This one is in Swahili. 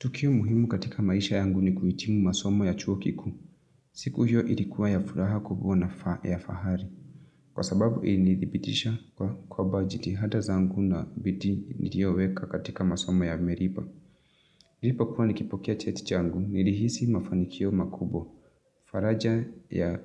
Tukio muhimu katika maisha yangu ni kuhitimu masomo ya chuo kiku. Siku hiyo ilikuwa ya furaha kubwa na ya fahari. Kwa sababu ili nithibitisha kwa kwamba jitihata zangu na bidhii nilioweka katika masomo yamelipa. Nilipokua nikipokea cheti changu, nilihisi mafanikio makubwa. Faraja ya